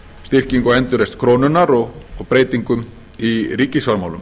styrkingu og endurreisn krónunnar og breytingum í ríkisfjármálum